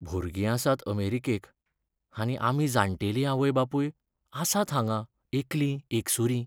भुरगीं आसात अमेरिकेक, आनी आमी जाण्टेली आवय बापूय आसात हांगां एकलीं एकसुरीं!